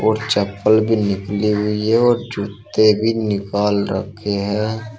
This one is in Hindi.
और चप्पल भी निकाली हुई है और जूते भी निकाल रखे हैं।